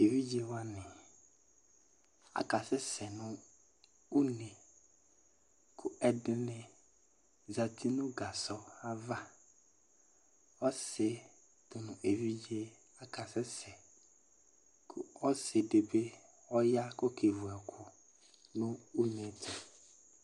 Evidze wani aka sɛsɛ nʋ une, kʋ ɛdini zati nʋ gasɔ ava Ɔsi dʋ nʋ evidze aka sɛsɛ kʋ ɔsi di bi ɔya k'ɔkevu ɛkʋ nʋ une yɛ tʋ